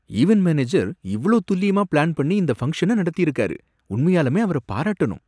Event manager இவ்ளோ துல்லியமா plan பண்ணி இந்த ஃபங்க்ஷன நடத்திருக்காரு! உண்மையாலுமே அவர பாராட்டணும்.